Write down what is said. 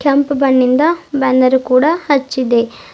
ಕೆಂಪು ಬಣ್ಣ್ ಯಿಂದ ಬ್ಯಾನರ್ ಕೂಡ ಹಚ್ಚಿದೆ.